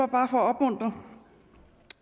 bare for